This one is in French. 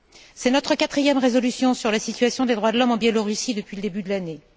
C'est notre quatrième résolution sur la situation des droits de l'homme en Biélorussie depuis le début de l'année.